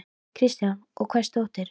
Kristján: Og hvers dóttir?